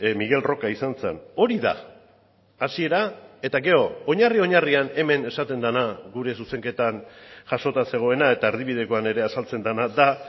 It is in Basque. miguel roca izan zen hori da hasiera eta gero oinarri oinarrian hemen esaten dena gure zuzenketan jasota zegoena eta erdibidekoan ere azaltzen dena da